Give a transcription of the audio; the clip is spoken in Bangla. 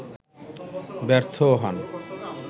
ব্যর্থও হন